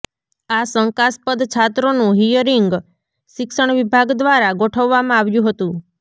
આ શંકાસ્પદ છાત્રોનુ હિયરીંગ શિક્ષણ વિભાગ દ્વારા ગોઠવવામાં આવ્યુ હતું